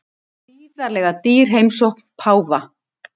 Gríðarlega dýr heimsókn páfa